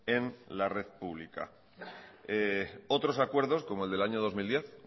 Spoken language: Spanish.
en la red pública otros acuerdos como el del año dos mil diez